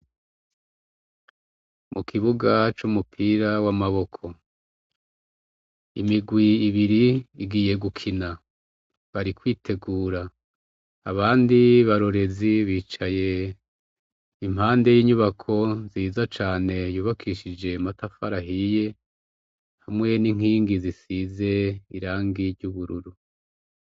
Mukibuga cumupira wamaboko. Imigwi ibiri igiye gukina. Bari kwitegura. Abandi barorerezi bicaye impande yinyubako nziza cane yubakishije amatafari ahiye hamwe ninkingi zisize irangi ry'ubururu.